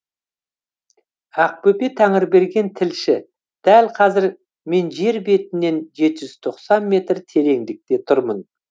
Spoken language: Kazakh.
ақбөпе тәңірберген тілші дәл қазір мен жер бетінен жеті жүз тоқсан метр тереңдікте тұрмын